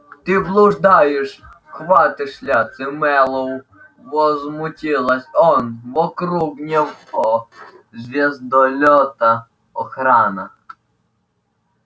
ты блуждаешь в потёмках мэллоу возмутился он вокруг нашего звездолёта охрана